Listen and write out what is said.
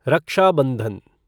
रक्षा बंधन